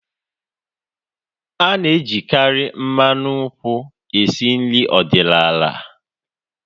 Ana ejikari mmanụ nkwụ esi nri ọdịnala